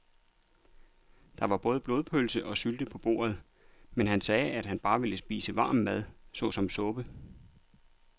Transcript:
Der var både blodpølse og sylte på bordet, men han sagde, at han bare ville spise varm mad såsom suppe.